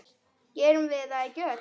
Gerum við það ekki öll?